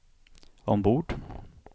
ombord